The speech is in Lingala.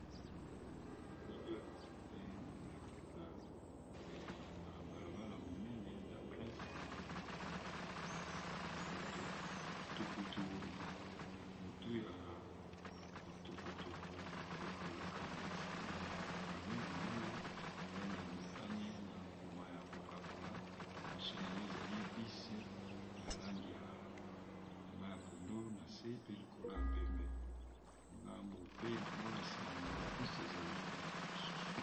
Elili oyo e kolakisa na balabala monene na prince mutu ya tukutuku ekoleka na sima ya camion monene langi ya motane na mayi ya coca kola, liboso na yango ezali bus ya langi ya mayi pondu na se pe likolo ya pembe ngambu pe nango na nsima yango ya bise ezali motuka mosusu.